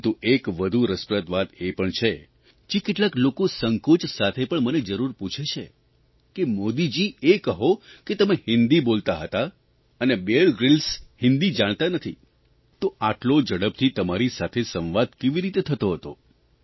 પરંતુ એક વધુ રસપ્રદ વાત એ પણ છે જે કેટલાક લોકો સંકોચ સાથે પણ મને જરૂર પૂછે છે કે મોદીજી એ કહો કે તમે હિંદી બોલતા હતા અને બીયર ગ્રીલ્સ હિંદી જાણતા નથી તો આટલો ઝડપથી તમારી સાથે સંવાદ કેવી રીતે થતો હતો